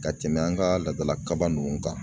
Ka tɛmɛ an ka laadala kaba ninnu kan